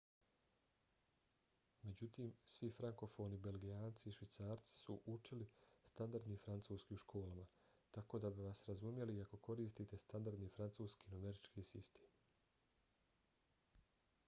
međutim svi frankofoni belgijanci i švicarci su učili standardni francuski u školama tako da bi vas razumjeli i ako koristite standardni francuski numerički sistem